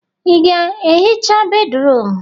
Ị ga-ehicha bédrụum?